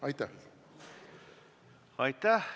Aitäh!